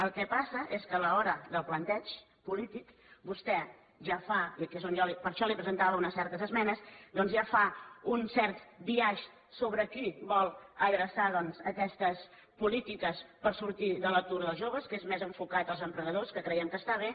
el que passa és que a l’hora del plantejament polític vostè ja fa i per això li presentava unes certes esmenes doncs un cert biaix sobre a qui vol adreçar aquestes polítiques per sortir de l’atur dels joves que és més enfocat als emprenedors que creiem que està bé